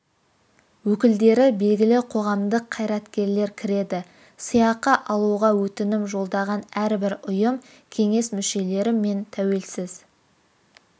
өкілдері белгілі қоғамдық қйараткерлер кіреді сыйақы алуға өтінім жолдаған әрбір ұйым кеңес мүшелері мен тәуелсіз